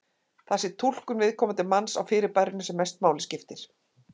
Það sé túlkun viðkomandi manns á fyrirbærinu sem mestu máli skipti.